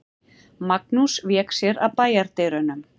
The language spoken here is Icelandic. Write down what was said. Magnús vék sér að bæjardyrunum.